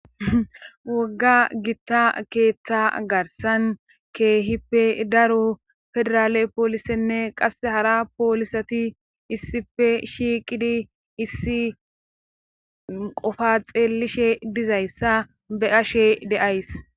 Wogga gitta keeththa garsan keehippe daro federaale poolisenne qasse hara poolisati issife shiiqidi issi qofaxeelishe dizayssa be ashe de7ays